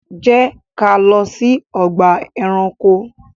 Jẹ́ ká lọ sí ọgbà ẹranko!